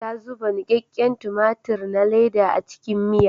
Ta zuba nikakken tumatir na leda a cikin miya.